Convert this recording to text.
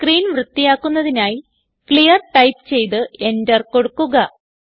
screen വൃത്തിയാക്കുന്നതിനായി clear type ചെയ്ത് enter കൊടുക്കുക